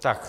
Ano.